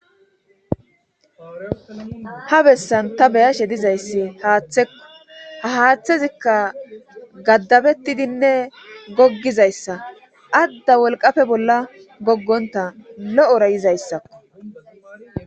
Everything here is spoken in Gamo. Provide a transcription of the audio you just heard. ha bessan ta beyashe dizayssi haaththekko ha haaththezikka gaddabettidinne goggizayssa adda wolqafe bolla goggonta lo7ora yizayssakko